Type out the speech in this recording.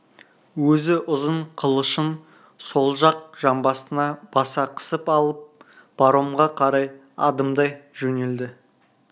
өзі ұзын қылышын сол жақ жамбасына баса қысып алып паромға қарай адымдай жөнелді